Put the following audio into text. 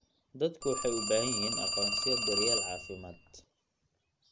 Dadku waxay u baahan yihiin aqoonsiyo daryeel caafimaad.